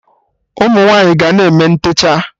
Ụmụnwaanyi ga na-eme ntechaa